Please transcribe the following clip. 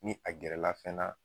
Ni a gɛrɛla fɛn na